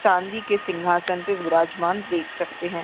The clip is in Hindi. चांदी के सिंघासन पे विराजमान देख सकते है।